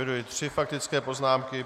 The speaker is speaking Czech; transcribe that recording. Eviduji tři faktické poznámky.